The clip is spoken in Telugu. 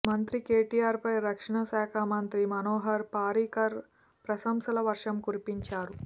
మంత్రి కేటీఆర్ పై రక్షణ శాఖ మంత్రి మనోహర్ పారికర్ ప్రశంసల వర్షం కురిపించారు